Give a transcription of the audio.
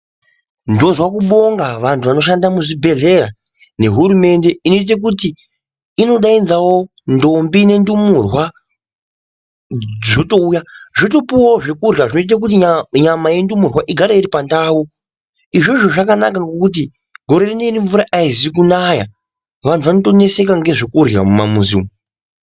Ndozwe kubonga vantu vanoshanda muzvibhedhlera nehurumende inoite kuti inodaidzawo ntombi nendumurwa zvotouya zvotopuwawo zvokurya zvoita kuti nyama yendumurwa igare iripandau izvozvo zvakanaka ngekuti gore rineiri mvura aizikunaya vantu vanotoneseka ngozvekurya mumamizi umu .